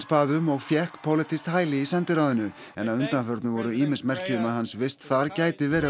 bað um og fékk pólitískt hæli í sendiráðinu en að undanförnu voru ýmis merki um að hans vist þar gæti verið